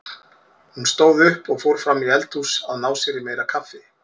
Hún stóð upp og fór fram í eldhús að ná sér í meira kaffi.